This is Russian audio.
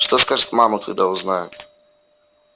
что скажет мама когда узнает